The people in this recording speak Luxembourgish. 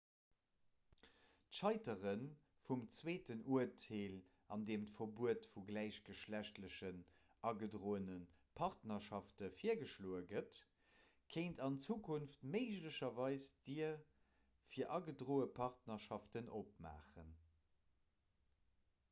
d'scheitere vum zweeten urteel an deem d'verbuet vu gläichgeschlechtlechen agedroene partnerschafte virgeschloe gëtt kéint an zukunft méiglecherweis d'dier fir agedroe partnerschaften opmaachen